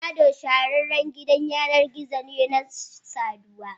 Badoo shahararren gidan yanar gizo ne na saduwa